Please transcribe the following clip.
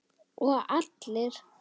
Og allir?